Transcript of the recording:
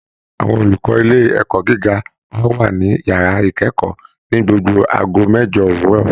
Àwọn olùkọ́ ilé ẹ̀kọ́ gíga á wà ní yàrá ìkẹ́kọ̀ọ́ ní gbogbo aago mẹ́jo òwúrọ̀